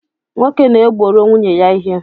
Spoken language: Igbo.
Nwoke na-egboro nwunye ya ihe